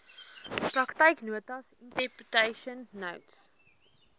praktyknotas interpretation notes